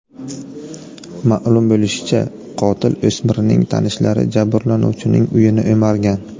Ma’lum bo‘lishicha, qotil o‘smirning tanishlari jabrlanuvchining uyini o‘margan.